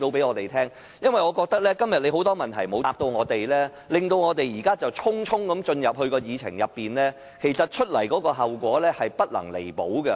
我認為，主席今天對我們的很多問題都未有回答，匆匆進入這個議程項目的討論，後果將不能彌補。